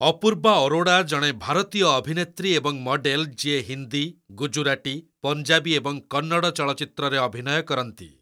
ଅପୂର୍ବା ଅରୋଡ଼ା ଜଣେ ଭାରତୀୟ ଅଭିନେତ୍ରୀ ଏବଂ ମଡେଲ୍ ଯିଏ ହିନ୍ଦୀ, ଗୁଜୁରାଟୀ, ପଞ୍ଜାବୀ ଏବଂ କନ୍ନଡ଼ ଚଳଚ୍ଚିତ୍ରରେ ଅଭିନୟ କରନ୍ତି।